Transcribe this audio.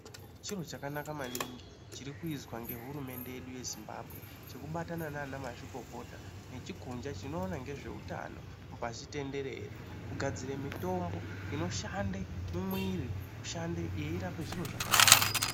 Chiro chakanaka maningi chirikuizwa ngehurumende yedu yeZimbabwe . Chekubatana naanamazvikokota nechikundla chinoona ngezveutano pashi tenderere, kugadzire mutombo inoshande mumwiri kushande yeirapa zviro zvakawanda.